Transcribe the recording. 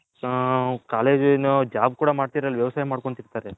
ಹು ಕಾಲೇಜ್ ಏನು job ಕೂಡ ವ್ಯವಸಾಯ ಮಡ್ಕೊಂಡ್ತಿರ್ತರೆ .